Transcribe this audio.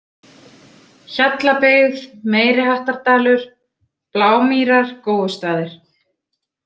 Hjallabyggð, Meiri Hattardalur, Blámýrar, Góustaðir